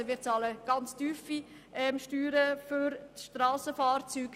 Wir bezahlen sehr tiefe Steuern für Strassenfahrzeuge.